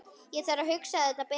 Ég þarf að hugsa þetta betur.